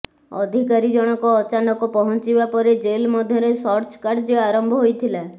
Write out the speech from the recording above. ଅଧିକାରୀ ଜଣକ ଅଚାନକ ପହଞ୍ଚିବା ପରେ ଜେଲ୍ ମଧ୍ୟରେ ସର୍ଚ କାର୍ଯ୍ୟ ଆରମ୍ଭ ହୋଇଥିଲା